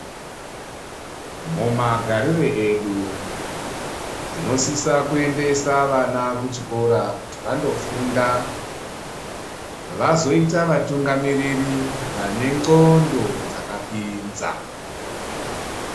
Mumagarire edu tinosisa kuendesa vana kuchikora kuti vandofunda vazoita vatungamiriri vane nxondo dzakapinza.